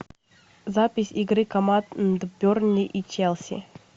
запись игры команд бернли и челси